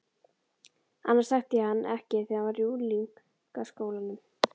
Annars þekkti ég hann ekki þegar hann var í unglingaskólanum.